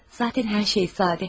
Zatən hər şey sadə.